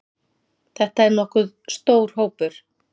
Þetta er nokkuð stór hópur.